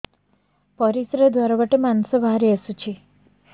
ପରିଶ୍ରା ଦ୍ୱାର ବାଟେ ମାଂସ ବାହାରି ଆସୁଛି